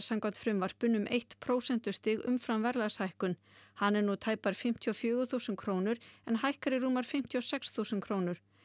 samkvæmt frumvarpinu um eitt prósentustig umfram verðlagshækkun hann er nú tæpar fimmtíu og fjögur þúsund krónur en hækkar í rúmar fimmtíu og sex þúsund krónur